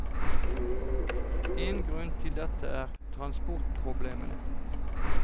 En grunn til dette er transportproblemene.